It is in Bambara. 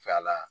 Fa la